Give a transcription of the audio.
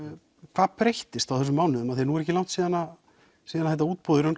hvað breyttist á þessum mánuðum því að nú er ekki langt síðan síðan þetta útboð í raun